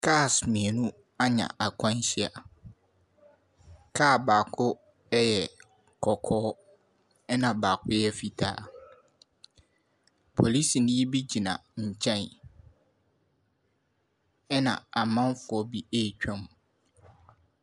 Cars mmienu anya akwanhyia. Car baako ɛyɛ kɔkɔɔ, ɛna baako yɛ fitaa. Polisini bi gyina nkyɛn. Ɛna amanfoɔ bi retwam.